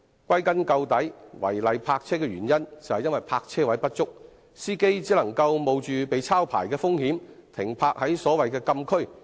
歸根究底，違例泊車的原因是泊車位不足，司機只能冒着被抄牌的風險，把車輛停泊在所謂的禁區。